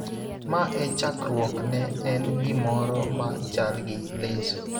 ma e chakruok ne en gimoro ma chal gi leso.